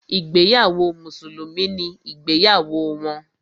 Ìgbéyàwó mùsùlùmí ni ìgbéyàwó wọn.